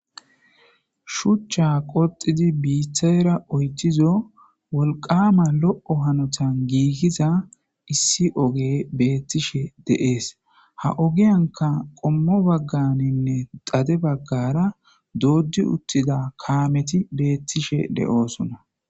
shuchcha qoxidi biithayra oytizo wolqama lo7o hanotan giigiza issi oge beettishe deees ha ogiyanka qommo bagganinne dade baggara dooddi uttida kaameti beettishe de7oosona